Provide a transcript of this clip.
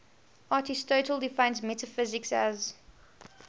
aristotle defines metaphysics as